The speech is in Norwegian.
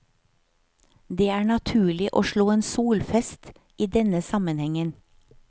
Det er naturlig å slå en solfest i denne sammenhengen.